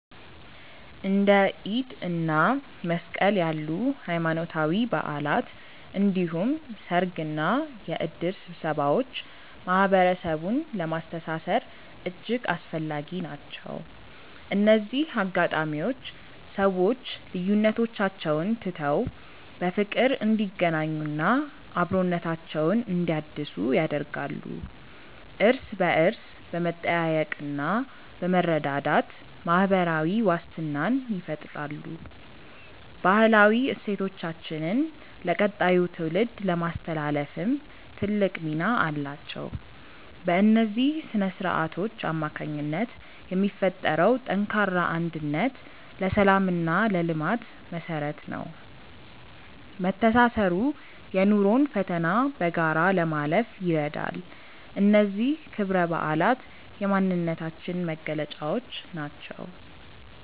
እንደ ኢድ እና መስቀል ያሉ ሃይማኖታዊ በዓላት እንዲሁም ሰርግና የእድር ስብሰባዎች ማህበረሰቡን ለማስተሳሰር እጅግ አስፈላጊ ናቸው። እነዚህ አጋጣሚዎች ሰዎች ልዩነቶቻቸውን ትተው በፍቅር እንዲገናኙና አብሮነታቸውን እንዲያድሱ ያደርጋሉ። እርስ በእርስ በመጠያየቅና በመረዳዳት ማህበራዊ ዋስትናን ይፈጥራሉ። ባህላዊ እሴቶቻችንን ለቀጣዩ ትውልድ ለማስተላለፍም ትልቅ ሚና አላቸው። በእነዚህ ስነ-ስርዓቶች አማካኝነት የሚፈጠረው ጠንካራ አንድነት ለሰላምና ለልማት መሰረት ነው። መተሳሰሩ የኑሮን ፈተና በጋራ ለማለፍ ይረዳል። እነዚህ ክብረ በዓላት የማንነታችን መገለጫዎች ናቸው።